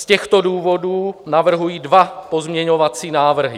Z těchto důvodů navrhuji dva pozměňovací návrhy.